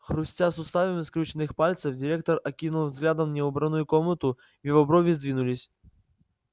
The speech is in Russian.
хрустя суставами скрюченных пальцев директор окинул взглядом неубранную комнату его брови сдвинулись